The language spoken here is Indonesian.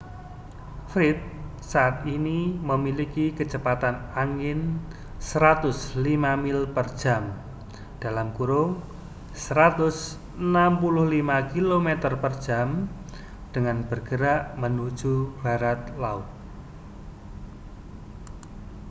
fred saat ini memiliki kecepatan angin 105 mil per jam 165 km/jam dan bergerak menuju barat laut